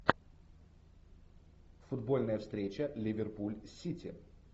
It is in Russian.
футбольная встреча ливерпуль сити